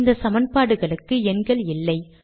இந்த சமன்பாடுகளுக்கு எண்கள் இல்லை